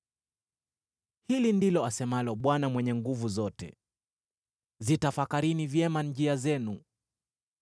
Hili ndilo asemalo Bwana Mwenye Nguvu Zote: “Zitafakarini vyema njia zenu.